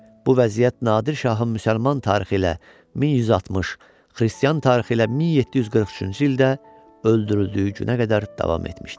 Bu vəziyyət Nadir şahın müsəlman tarixi ilə 1160, xristian tarixi ilə 1743-cü ildə öldürüldüyü günə qədər davam etmişdi.